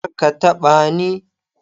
Kar ka taɓa ni!